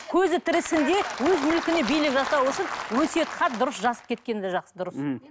көзі тірісінде өз мүлкіне билік жасау үшін өсиет хат дұрыс жазып кеткен де дұрыс мхм